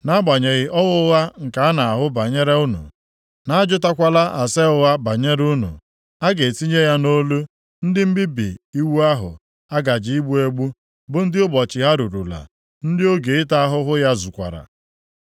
Nʼagbanyeghị ọhụ ụgha nke a na-ahụ banyere unu, na a jụtakwala ase ụgha banyere unu, a ga-etinye ya nʼolu ndị mmebi iwu ahụ a gaje igbu egbu, bụ ndị ụbọchị ha rurula, ndị oge ịta ahụhụ ha zukwara.